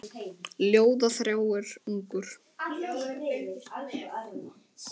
Ljóða þráir ungur.